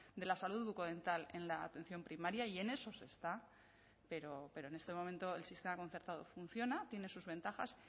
de la salud bucodental en la atención primaria y en eso se está pero en este momento el sistema concertado funciona tiene sus ventajas